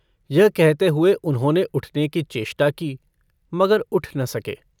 यह कहते हुए उन्होंने उठने की चेष्टा की मगर उठ न सके।